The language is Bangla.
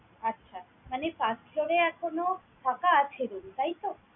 আচ্ছা! মানে first floor এ এখনো ফাঁকা আছে room, তাইতো?